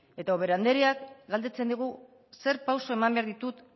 eta ubera andreak galdetzen digu zer pausu eman behar ditu